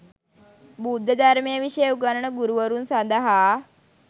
බුද්ධ ධර්මය විෂය උගන්වන ගුරුවරුන් සඳහා